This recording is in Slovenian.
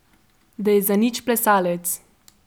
Da je zanič plesalec.